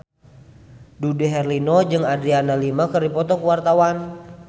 Dude Herlino jeung Adriana Lima keur dipoto ku wartawan